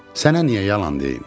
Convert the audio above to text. Sənə niyə yalan deyim?